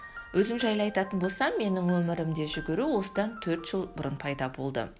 өзім жайлы айтатын болсам менің өмірімде жүгіру осыдан төрт жыл бұрын пайда болды